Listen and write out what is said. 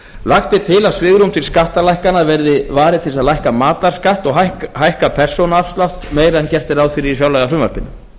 lagt er til að svigrúmi til skattalækkana verði varið til að lækka matarskatt og hækka persónuafslátt meira en gert er ráð fyrir í fjárlagafrumvarpinu